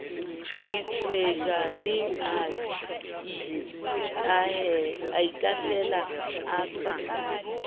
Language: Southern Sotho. ditswejane a itahlela a sa